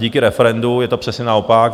Díky referendu je to přesně naopak.